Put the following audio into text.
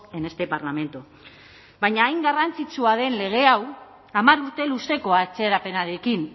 en este parlamento baina hain garrantzitsua den lege hau hamar urte luzeko atzerapenarekin